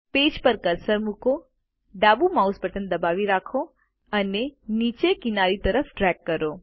page પર cursor મૂકો ડાબુ માઉસ બટન દબાવી રાખો અને નીચે અને કિનારીની તરફ ડ્રેગ કરો